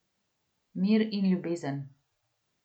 Mir in ljubezen.